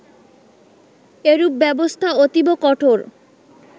এরূপ ব্যবস্থা অতীব কঠোর